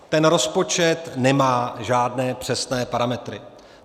Ten rozpočet nemá žádné přesné parametry.